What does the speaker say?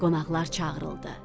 Qonaqlar çağırıldı.